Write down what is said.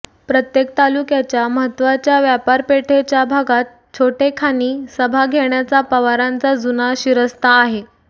प्रत्येक तालुक्याच्या महत्त्वाच्या व्यापारपेठेच्या भागात छोटेखानी सभा घेण्याचा पवारांचा जुना शिरस्ता आहे